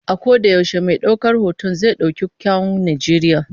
A koda yaushe mai daukar hoton zai dauki kyawun Najeriya.